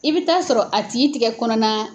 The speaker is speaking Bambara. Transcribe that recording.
I bɛ taa sɔrɔ a tigi tigɛ kɔnɔna